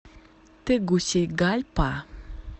тегусигальпа